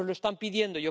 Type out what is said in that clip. Nos lo están pidiendo.